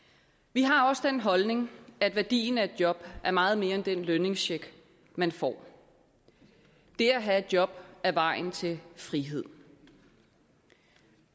vi har også den holdning at værdien af et job er meget mere end den lønningscheck man får det at have et job er vejen til frihed